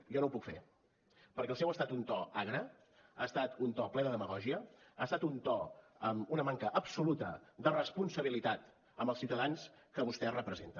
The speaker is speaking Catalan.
jo no ho puc fer perquè el seu ha estat un to agre ha estat un to ple de demagògia ha estat un to amb una manca absoluta de responsabilitat amb els ciutadans que vostès representen